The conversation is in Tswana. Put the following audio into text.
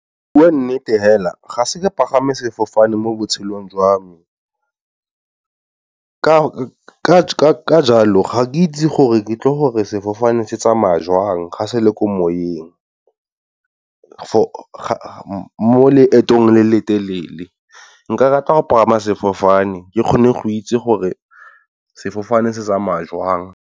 Go bua nnete fela ga se ke pagama sefofane mo botshelong jwa me, ka jalo ga ke itse gore ke tle gore sefofane se tsamaya jwang ga se le ko moyeng. Mo leetong le le telele nka rata go pagama sefofane ke kgone go itse gore sefofane se tsaya jwang.